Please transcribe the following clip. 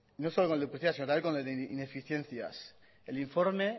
no solo con el de duplicidad sino con el de ineficiencias el informe